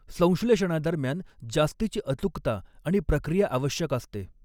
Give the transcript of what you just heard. संश्लेषणादरम्यान जास्तीची अचूकता आणि प्रक्रिया आवश्यक असते.